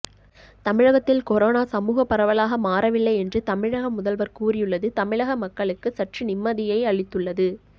தமிழகத்தில் கொரோனா சமூக பரவலாக மாறவில்லை என்று தமிழக முதல்வர் கூறியுள்ளது தமிழக மக்களுக்கு சற்று நிம்மதியை அளித்துள்ளது